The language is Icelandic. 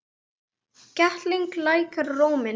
Ketill lækkar róminn.